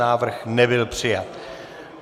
Návrh nebyl přijat.